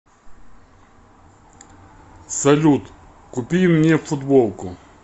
салют купи мне футболку